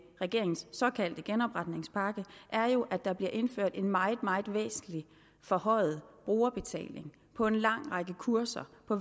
regeringens såkaldte genopretningspakke er jo at der bliver indført en meget meget væsentlig forhøjet brugerbetaling på en lang række kurser på